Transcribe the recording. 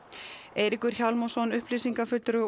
Eiríkur Hjálmarsson upplýsingafulltrúi